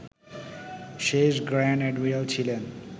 শেষ grand admiral ছিলেন